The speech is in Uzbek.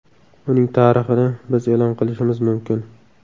Uning tarixini biz e’lon qilishimiz mumkin.